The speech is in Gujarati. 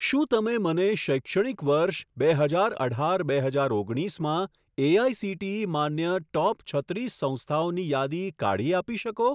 શું તમે મને શૈક્ષણિક વર્ષ બે હજાર અઢાર બે હજાર ઓગણીસમાં એઆઇસીટીઈ માન્ય ટોપ છત્રીસ સંસ્થાઓની યાદી કાઢી આપી શકો?